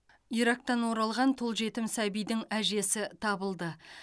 ирактан оралған тұл жетім сәбидің әжесі табылды